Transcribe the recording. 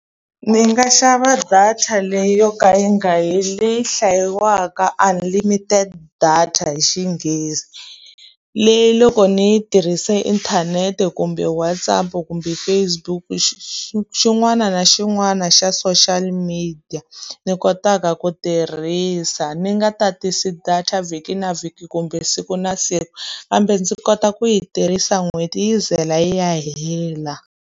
Ndzi nga xava data leyi yo ka yi nga heli, leyi hlayiwaka unlimited data hi xinghezi. Leyi loko ni yi tirhisa inthanete, kumbe WhatsApp, kumbe Fcebook xin'wana na xin'wana xa social media ni kotaka ku tirhisa. Ni nga tatisi data vhiki na vhiki kumbe siku na siku, kambe ndzi kota ku yi tirhisa n'hweti yi ze yi ya hela.